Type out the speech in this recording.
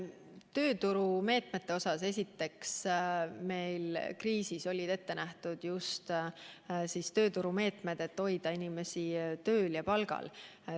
Tööturumeetmetest, esiteks, olid meil kriisis ette nähtud just sellised meetmed, mille abil hoida inimesi tööl ja palgal.